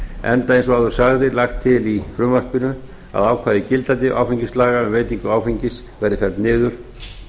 enda eins og áður sagði lagt til í frumvarpinu að ákvæði gildandi áfengislaga um veitingu áfengis verði felld niður